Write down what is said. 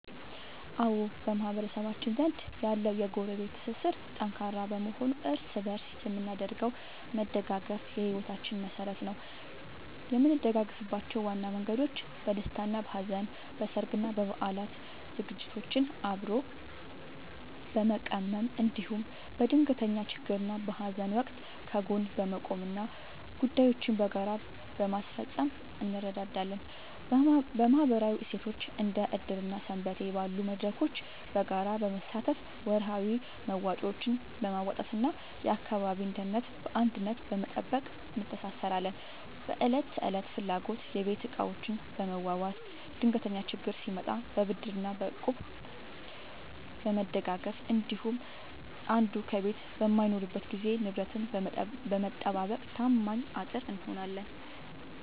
አዎ፣ በማህበረሰባችን ዘንድ ያለው የጎረቤት ትስስር ጠንካራ በመሆኑ እርስ በእርስ የምናደርገው መደጋገፍ የሕይወታችን መሠረት ነው። የምንደጋገፍባቸው ዋና መንገዶች፦ በደስታና በሐዘን፦ በሠርግና በበዓላት ዝግጅቶችን አብሮ በመቀመም፣ እንዲሁም በድንገተኛ ችግርና በሐዘን ወቅት ከጎን በመቆምና ጉዳዮችን በጋራ በማስፈጸም እንረዳዳለን። በማኅበራዊ እሴቶች፦ እንደ ዕድር እና ሰንበቴ ባሉ መድረኮች በጋራ በመሳተፍ፣ ወርሃዊ መዋጮዎችን በማዋጣትና የአካባቢን ደህንነት በአንድነት በመጠበቅ እንተሳሰራለን። በዕለት ተዕለት ፍላጎቶች፦ የቤት ዕቃዎችን በመዋዋስ፣ ድንገተኛ ችግር ሲመጣ በብድርና በእቁብ በመደጋገፍ እንዲሁም አንዱ ከቤት በማይኖርበት ጊዜ ንብረትን በመጠባበቅ ታማኝ አጥር እንሆናለን።